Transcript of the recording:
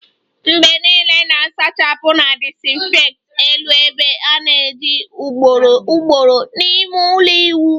Mgbe niile na-asachapu na disinfect elu ebe a ana-eji ugboro ugboro n'ime ulo iwu